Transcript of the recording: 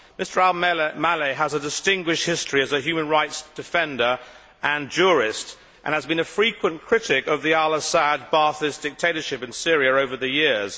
Mr Al Maleh has a distinguished history as a human rights defender and jurist, and has been a frequent critic of the Al Assad Baathist dictatorship in Syria over the years.